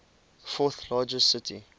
fourth largest city